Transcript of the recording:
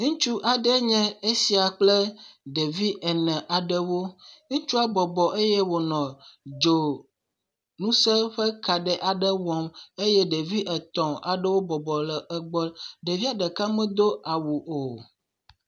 ŋutsu aɖe nye esia kple ɖevi ene aɖewo ŋutsuɔ bɔbɔ eye wónɔ dzo ŋuse ƒe ka ɖe aɖe wɔm eye ɖevi etɔ̃ aɖewo bɔbɔ ɖe egbɔ ɖevia ɖeka medó awu o